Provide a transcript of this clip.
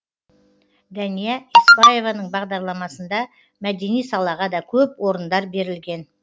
дәния еспаеваның бағарламасында мәдени салаға да көп орындар берілген